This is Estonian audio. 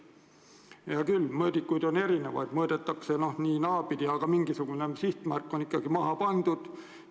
Hea küll, mõõdikuid on erinevaid, mõõdetakse nii- ja naapidi, aga vähemalt mingisugune sihtmärk on maha pandud.